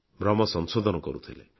ଭମ୍ର ସଂଶୋଧନ କରୁଥିଲେ